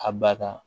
A ba kan